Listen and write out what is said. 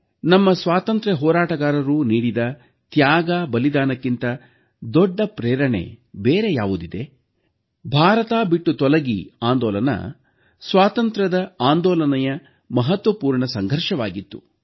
ನಮ್ಮ ಸ್ವಾತಂತ್ರ್ಯ ಹೋರಾಟಗಾರರು ನೀಡಿದ ತ್ಯಾಗ ಬಲಿದಾನಕ್ಕಿಂತ ದೊಡ್ಡ ಪ್ರೇರಣೆ ಬೇರೆ ಯಾವುದಿದೆ ಭಾರತ ಬಿಟ್ಟು ತೊಲಗಿ ಆಂದೋಲನ ಸ್ವಾತಂತ್ರ್ಯದ ಆಂದೋಲನದ ಮಹತ್ವಪೂರ್ಣ ಸಂಘರ್ಷವಾಗಿತ್ತು